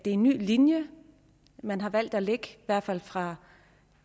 en ny linje man har valgt at lægge i hvert fald fra